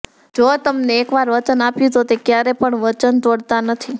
જો તેમને એક વાર વચન આપ્યું તો તે ક્યારે પણ વચન તોડતા નથી